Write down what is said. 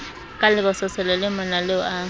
ka lebososelo le monaleo a